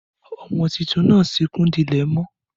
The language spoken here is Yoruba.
Ọmọ títùn nà súkún dílè mọ.